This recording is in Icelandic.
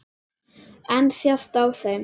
En sést á þeim?